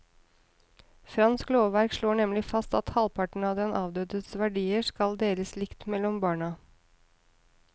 Fransk lovverk slår nemlig fast at halvparten av den avdødes verdier skal deles likt mellom barna.